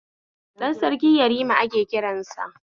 Ɗan Sarki yarima ake kiransa